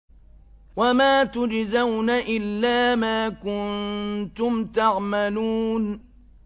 وَمَا تُجْزَوْنَ إِلَّا مَا كُنتُمْ تَعْمَلُونَ